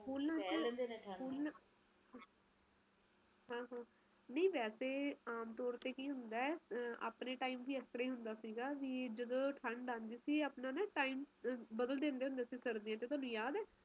ਆਹੋ ਹੈ ਗੱਲ ਸੱਚ ਐ ਨਹੀਂ ਨਹੀਂ ਓਥੇ ਮੇਰੇ ਪੇਕੇ ਹੈ ਗੇ ਆ ਉੱਤਰ ਪਰਦੇਸ਼ ਓਥੇ ਵੀ ਇਹੀ ਹਾਲ ਐ ਆਪਣੀ ਮੰਮੀ ਨੂੰ ਪੁੱਛਦੀ ਹੋਣੀ ਆ ਓਦਰ ਵੀ